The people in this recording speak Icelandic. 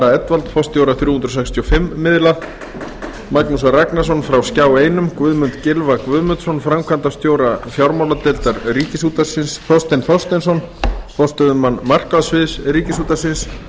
ara edwald forstjóra þrjú hundruð sextíu og fimm miðla magnús ragnarsson frá skjá einum guðmund gylfa guðmundsson framkvæmdastjóra fjármáladeildar ríkisútvarpsins þorstein þorsteinsson forstöðumann markaðssviðs ríkisútvarpsins